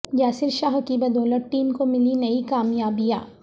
یاسر شاہ کی بدولت ٹیم کو ملی نئی کامیابیاں